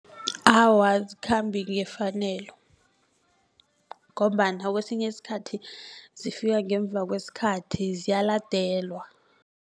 Awa azikhambi ngefanelo ngombana kwesinye iskhathi zifika ngemva kwesikhathi ziyaladelwa.